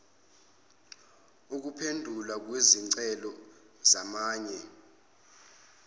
ukuphendulwa kwezicelo zamanye